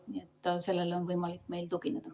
Nii et sellele on meil võimalik tugineda.